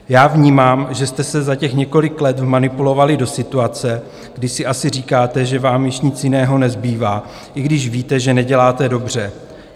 Já vnímám, že jste se za těch několik let vmanipulovali do situace, kdy si asi říkáte, že vám již nic jiného nezbývá, i když víte, že neděláte dobře.